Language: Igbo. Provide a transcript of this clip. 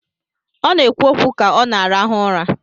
Ọ na-ekwu okwu ka ọ na-arahụ ụra.